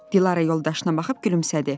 Dilarə yoldaşına baxıb gülümsədi.